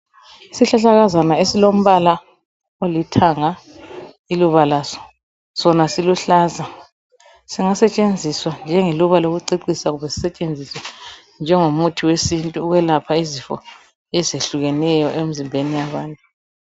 Isihlahlakazana esilombala olithanga iluba laso, sona siluhlaza, singasetshenziswa njengeluba lokucecisa kumbe sisetshenziswe njengomuthi wesintu ukwelapha izifo ezehlukeneyo emzimbeni yabantu.